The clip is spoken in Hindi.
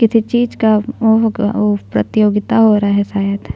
किसी चीज़ का उ होगा उ प्रतियोगा हो रहा है शायद --